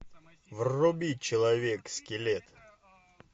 вруби человек скелет